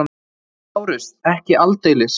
LÁRUS: Ekki aldeilis!